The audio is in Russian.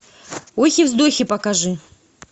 охи вздохи покажи